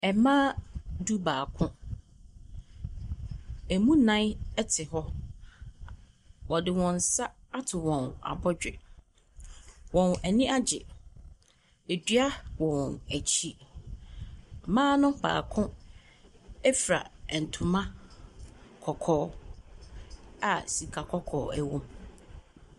Mmaa du-baako. Ɛmu nnan te hɔ. Wɔde wɔn nsa ato wɔn abɔdwe. Wɔn ani agye. Dua wɔ wɔn akyi. Mmaa no baako fura ntoma kɔkɔɔ a sika kɔkɔɔ wom.